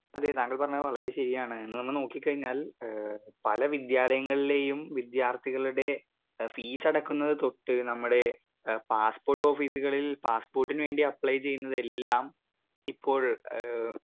Speaker 2 അതെ താങ്കൾ പറഞ്ഞത് വളരെ ശരിയാണ് ഒന്ന് വന്ന് നോക്കിക്കഴിഞ്ഞാൽ ഏ പല വിദ്യാലയങ്ങളിലേയും വിദ്യാർത്ഥികളുടെ ഏ ഫീസടക്കുന്നത് തൊട്ട് ഞമ്മുടെ ഏ പാസ്പോർട്ടോഫീസുകളിൽ പാസ്സ്പോർട്ടിന് വേണ്ടി അപ്ലൈ ചീയ്യുന്നതെല്ലാം ഇപ്പോൾ ഏ.